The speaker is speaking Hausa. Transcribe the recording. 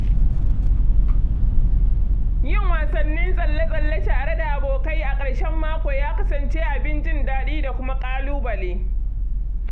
Yin wasannin tsalle-tsalle tare da abokai a ƙarshen mako ya kasance abin jin daɗi da kuma ƙalubale.